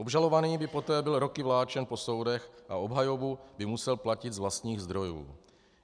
Obžalovaný by poté byl roky vláčen po soudech a obhajobu by musel platit z vlastních zdrojů.